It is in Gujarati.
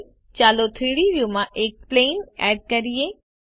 હવે ચાલો 3ડી વ્યુમાં એક પ્લેન એડ કરીએ